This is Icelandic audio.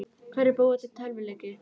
Hverjir búa til tölvuleiki?